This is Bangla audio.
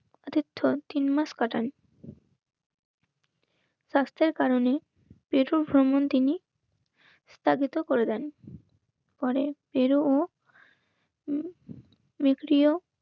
তীর্থ তিনমাস কাটান স্বাস্থ্যের কারণে প্রথম ভ্রমণ তিনি স্থাপিত করে দেন পরে তেরো ও বিক্রীও